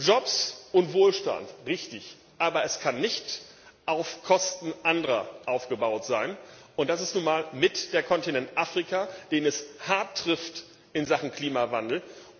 Jobs und Wohlstand richtig. Aber das kann nicht auf Kosten anderer aufgebaut sein. Und das ist nun mal auch der Kontinent Afrika, den es hart trifft in Sachen Klimawandel.